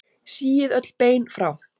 Síið öll bein frá.